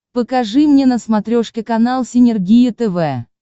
покажи мне на смотрешке канал синергия тв